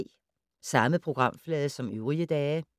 Samme programflade som øvrige dage